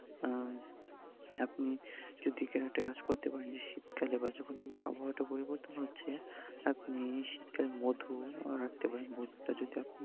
আহ আপনি যদি একটা কাজ করতে পারেন, যে শীতকালে বা যখন আবহাওয়াটা পরিবর্তন হচ্ছে, আপনি শীতকালে মধু রাখতে পারেন, মধুটা যদি আপনি